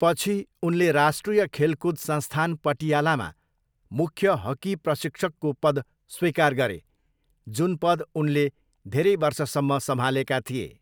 पछि, उनले राष्ट्रिय खेलकुद संस्थान, पटियालामा मुख्य हक्की प्रशिक्षकको पद स्वीकार गरे, जुन पद उनले धेरै वर्षसम्म सम्हालेका थिए।